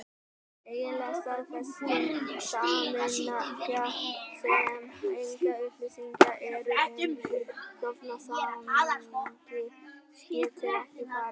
Eiginleg staðfesting samninga, sem engar upplýsingar eru um í stofnsamningi, getur ekki farið fram.